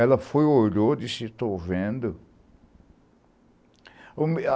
Ela foi e olhou e disse, estou vendo.